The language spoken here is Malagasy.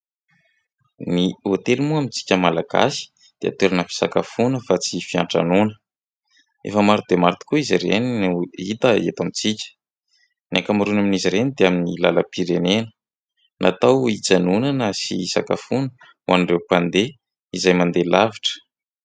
Ny hôtely moa amintsika malagasy dia toerana fisakafoana fa tsy fiantranoana. Efa maro de maro tokoa izay ireny no hita eto amintsika. Ny ankamaroany amin'izy ireny dia amin'ny lalam-pirenena natao hijanonana sy hisakafoana ho an'ireo mpandeha izay mandeha lavitra.